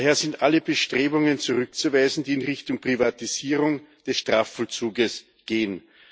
Daher sind alle Bestrebungen zurückzuweisen, die in Richtung Privatisierung des Strafvollzuges gehen.